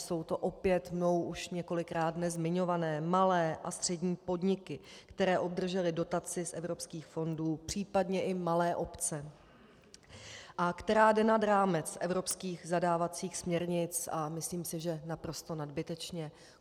Jsou to opět mnou již několikrát dnes zmiňované malé a střední podniky, které obdržely dotaci z evropských fondů, případně i malé obce, a která jde nad rámec evropských zadávacích směrnic, a myslím si, že naprosto nadbytečně.